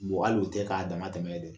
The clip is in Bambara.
hali o tɛ k'a damatɛmɛ ye dɛ